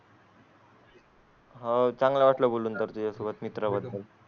हो चांगलं वाटलं बोलून तर त्या सोबत मित्र.